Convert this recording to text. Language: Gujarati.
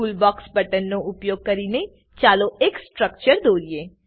ટૂલબોક્સ બટનનો ઉપયોગ કરીને ચાલો એક સ્ટ્રક્ચર દોરીએ